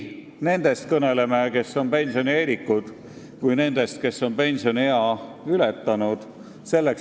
Tuleb kõnelda nii nendest, kes on pensionieelikud, kui ka nendest, kes on pensioniea ületanud.